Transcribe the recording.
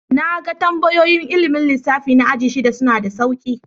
Na gan tambayoyin ilmin lissafi na ajin shida. Suna da sauƙi.